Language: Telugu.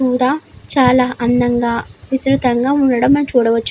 ఇక్కడ చాలా అందంగా విస్తృతంగా ఉండడం చూడవచ్చు --